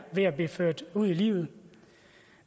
ved at blive ført ud i livet